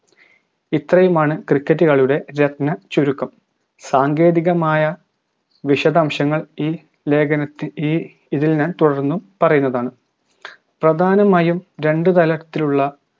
ഇത്രയുമാണ് cricket കളിയുടെ രത്ന ചുരുക്കം സാങ്കേതികമായ വിശദംശങ്ങൾ ഈ ലേഖനത്തി ഈ ഇതിൽ ഞാൻ തുടർന്ന് പറയുന്നതാണ് പ്രധാനമായും രണ്ട് തലത്തിലുള്ള